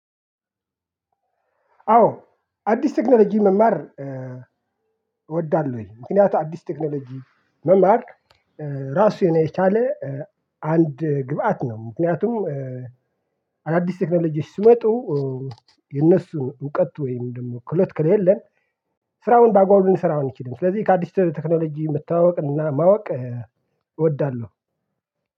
አዎ አዲስ ቴክኖሎጂ መማር እወዳለሁኝ ምክንያቱም አዲስ ቴክኖሎጂን መማር ራሱን የቻለ አንድ ግብአት ነው። አዳዲስ ቴክኖሎጂ ሲመጡ የነሱን እውቀት ወይም ደግሞ ክሎት ክሌለ። ስራውን ባግባቡ ልንሰራው አንችልም ስለዚህ ከአዲስ ቴክኖሎጂ መተዋወቅና ማወቅ እወዳለሁ።